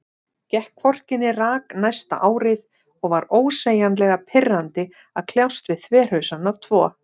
Gekk hvorki né rak næsta árið, og var ósegjanlega pirrandi að kljást við þverhausana tvo.